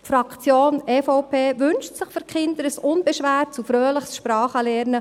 Die Fraktion EVP wünscht sich für die Kinder ein unbeschwertes und fröhliches Sprachenlernen.